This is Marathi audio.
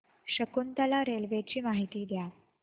शकुंतला रेल्वे ची माहिती द्या